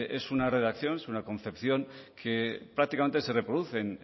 es una redacción es una concepción que prácticamente se reproduce